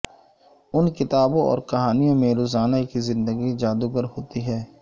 ان کتابوں اور کہانیوں میں روزانہ کی زندگی جادوگر ہوتی ہے